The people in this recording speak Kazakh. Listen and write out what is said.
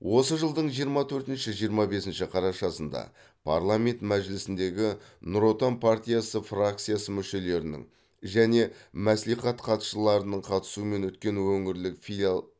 осы жылдың жиырма төртінші жиырма бесінші қарашасында парламент мәжілісіндегі нұр отан партиясы фракциясы мүшелерінің және мәслихат хатшыларының қатысуымен өткен өңірлік филиал